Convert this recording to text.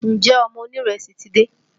Ǹjẹ́ ọmọ onírẹsì ti dé?